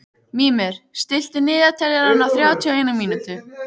Mímir, stilltu niðurteljara á þrjátíu og eina mínútur.